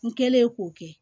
N kɛlen k'o kɛ